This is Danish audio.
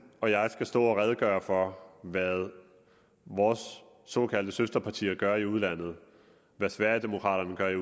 og jeg skal stå og redegøre for hvad vores såkaldte søsterpartier gør i udlandet hvad sverigedemokraterna gør i